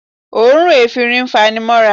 Òórùn efinrin fanimọ́ra